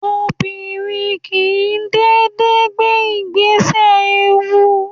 Obìnrin kìí dédé gbé ìgbésẹ̀ ewu